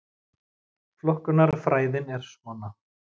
Flokkunarfræðin er svona: